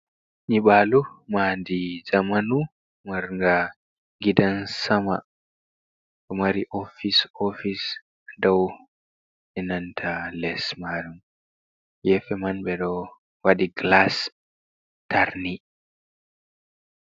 Nyibalu madi zamanu mar nga gidan sama, ɗo mari ofic ofice dow enanta les maru, gefe man ɓe do wadi glas tarni.